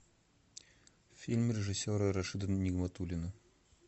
фильм режиссера рашида нигматуллина